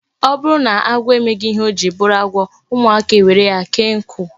O buru na agwo emeghi ihe ojiri buru agwo, umuaka ewere ya kee nku